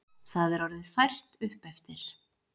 Það er orðið fært uppeftir.